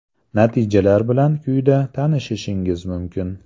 Natijalar bilan quyida tanishishingiz mumkin.